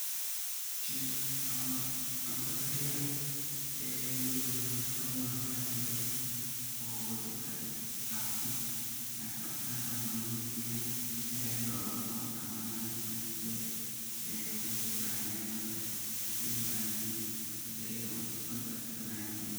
Chef amaba cunta kariyaa oo waliba nyama choma bahalka layirahdo zaid ayu u macan yahay oo qasatan dadka afrikantan oo kenyantan zaid lomsiticmalo walib zaid ayu u macan yahay , cunta kariyow waliba cunta lakarinaya weyan.